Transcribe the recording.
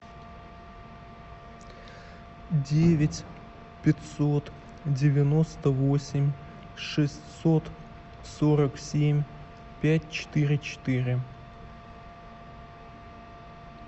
девять пятьсот девяносто восемь шестьсот сорок семь пять четыре четыре